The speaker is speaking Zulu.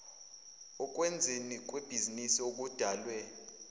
okwenzweni kwebhizinisi okudalwe